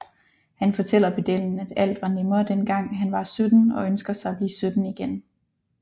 Han fortæller pedellen at alt var nemmere dengang han var 17 og ønsker sig at blive 17 igen